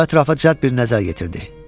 O ətrafa cəld bir nəzər yetirdi.